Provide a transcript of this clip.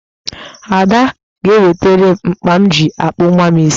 Ada sị ga-ewetere m mkpa m ji akpụ nwa m isi